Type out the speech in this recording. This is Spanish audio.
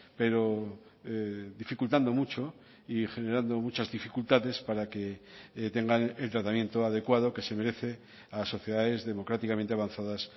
pero dificultando mucho y generando muchas dificultades para que tengan el tratamiento adecuado que se merece a sociedades democráticamente avanzadas